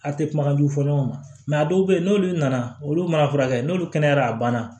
A tɛ kumakanjugu fɔ ɲɔgɔn ma a dɔw bɛ yen n'olu nana olu mana furakɛ n'olu kɛnɛyara a banna